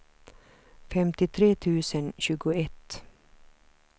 femtiotre tusen tjugoett